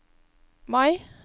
Mai